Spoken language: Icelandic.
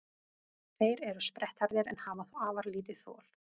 Þeir eru sprettharðir en hafa þó afar lítið þol.